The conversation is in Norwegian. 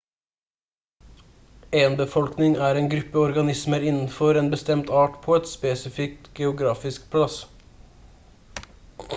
en befolkning er en gruppe organismer innenfor en bestemt art på en spesifikk geografisk plass